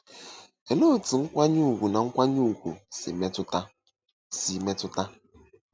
Olee otú nkwanye ùgwù na nkwanye ùgwù si metụta? si metụta?